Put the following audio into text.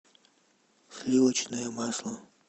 сливочное масло